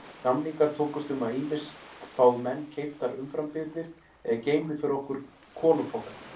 Samningar tókust um að ýmist fái menn keyptar umframbirgðir eða geymi fyrir okkur kolapoka.